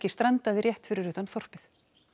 strandaði rétt fyrir utan þorpið